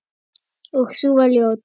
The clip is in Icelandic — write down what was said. Og sú var ljót!